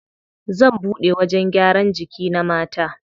Zan buɗe wajen gyaran jiki na mata.